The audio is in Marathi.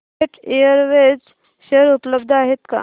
जेट एअरवेज शेअर उपलब्ध आहेत का